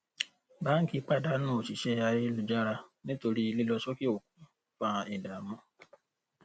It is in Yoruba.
bo bá fẹ́ kí pọ̀ gbèsè dín wàhálà rẹ kù ó yẹ kó o mọ ohun tó yẹ kó o fi sípò lóṣoo